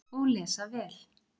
Og lesa vel.